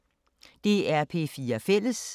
DR P4 Fælles